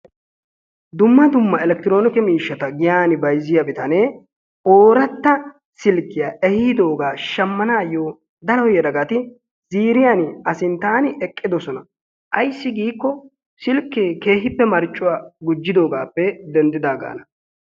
Dumma dumma electiroonike miishshata giyaan bayziyaa bitanee ooratta silkkiyaa ehiidoogaa shammanaayo daro yelagati ziiriyaani Asinttaan eqqidosona. Ayssi giikko silkkee keehippe marccuwaa gujjidoogaappe denddidaagaana.